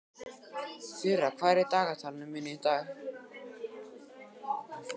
Þura, hvað er í dagatalinu mínu í dag?